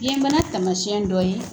Biyɛnbana taamasiyɛn dɔ ye